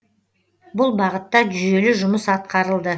бұл бағытта жүйелі жұмыс атқарылды